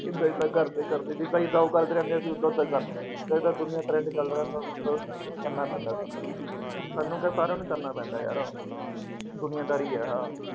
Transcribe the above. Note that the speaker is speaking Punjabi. ਜਿਦਾਂ ਜਿਦਾਂ ਘਰ ਦੇ ਕਰਦੇ ਸੀ, ਜਿਦਾ ਜਿਦਾਂ ਉਹ ਰਹਿੰਦੇ ਅਸੀਂ ਉਦਾਂ ਉਦਾਂ ਕਰਦੇ ਰਹਿੰਦੇ, ਕਰਨਾ ਪੈਂਦਾ ਸਾਨੂੰ, ਸਾਨੂੰ ਕਿਆ ਸਾਰਿਆਂ ਨੂੰ ਕਰਨਾ ਪੈਂਦਾ ਹੈ। ਦੁਨੀਆਦਾਰੀ ਹੈ ਆਹ।